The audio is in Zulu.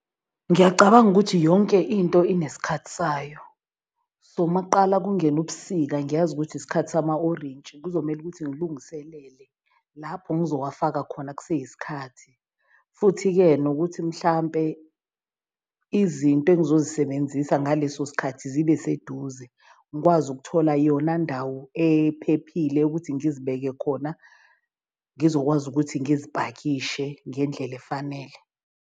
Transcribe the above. Ngiyacabanga ukuthi yonke into inesikhathi sayo, so makuqala kungena ubusika ngiyazi ukuthi isikhathi sama-orintshi. Kuzomele ukuthi ngilungiselele lapho ngizowafaka khona kuseyisikhathi. Futhi-ke nokuthi mhlampe izinto engizozisebenzisa ngaleso sikhathi zibe seduze. Ngikwazi ukuthola yona ndawo ephephile ukuthi ngizibeke khona, ngizokwazi ukuthi ngizipakishe ngendlela efanele.